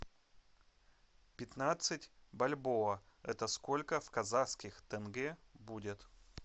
пятнадцать бальбоа это сколько в казахских тенге будет